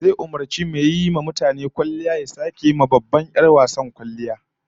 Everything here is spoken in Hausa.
Zai umurci mai yiwa mutane kwalliya da ya sake wa babbar 'yar wasar kwalliyar ta